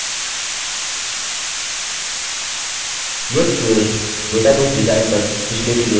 यह tutorial database design पर पिछले tutorial के आगे का भाग है